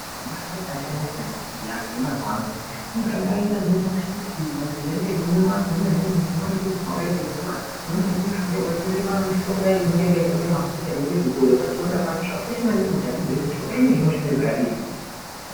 Kune mishonga yakasiyana siyana iyi yemazuva ano inoshanda kunyangwe mapirizi anomwiwa kune mishonga inenge yakaita mvura kune imweni mishonga inenge yakaita mafuta inenge yeizorwa pachironda pacho zvakakosha maningi kuti vazive kuti mishonga inei inoshanda zvakadini.